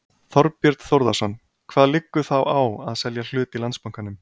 Þorbjörn Þórðarson: Hvað liggur þá á að selja hlut í Landsbankanum?